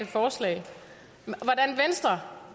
forslag